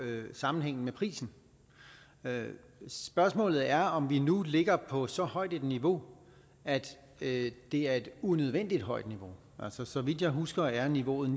sammenhængen med prisen spørgsmålet er om vi nu ligger på så højt et niveau at det er et unødvendigt højt niveau altså så vidt jeg husker er niveauet